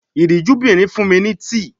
Ìríjúbìnrin fun mi ni tii.